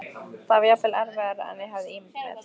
Það var jafnvel erfiðara en ég hafði ímyndað mér.